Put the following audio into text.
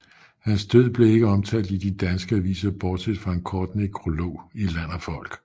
Hans død blev ikke omtalt i de danske aviser bortset fra en kort nekrolog i Land og Folk